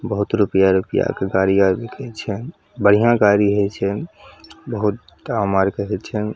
बहुत रूपया रूपया के गाड़ी आवे के छै बढ़िया गाड़ी हेय छै बहुत दाम आर के हेय छै ।